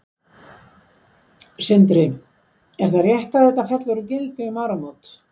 Sindri: Er það rétt að þetta fellur úr gildi um áramót?